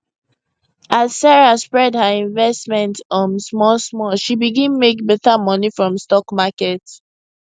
as sarah spread her investment um small small she begin make better money from stock market